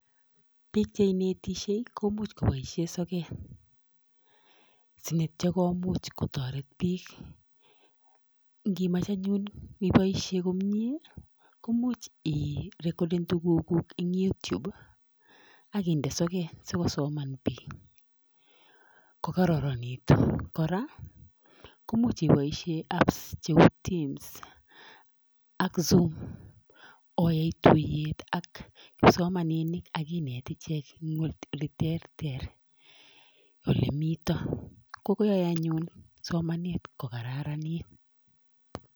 Piik che inetishey komuch kopaishe sokat sineityo komuch kotoret piik ngimach anyun ipoishe komnyee komuch 'ii'recoerden tuguk kuuk eng' YouTube akiinde sokat sikosoman piik kokararanitu, kora komuch ipoishe apps cheu Teams ak Zoom oyai tuiyet ak kipsomaninik akinet ichek ing' ole terter ole mito kogoyae anyun somanet kokararanit.